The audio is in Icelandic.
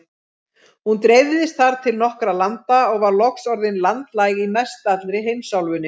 Hún dreifðist þar til nokkurra landa og var loks orðin landlæg í mestallri heimsálfunni.